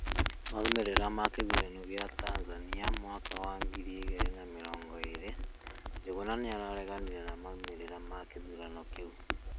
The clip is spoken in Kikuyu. maumĩrĩra ma gĩthũrano gĩa Tanzania mwaka wa ngĩrĩ ĩgĩrĩ na mĩrongo ĩrĩ: njuguna nĩararegamĩre na maumĩrĩra ma gĩthũrano kĩũ